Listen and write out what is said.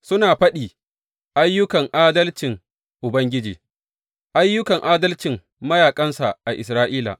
Suna faɗi ayyukan adalcin Ubangiji, ayyukan adalcin mayaƙansa a Isra’ila.